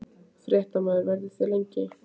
Fréttamaður: Verðið þið lengi hérna?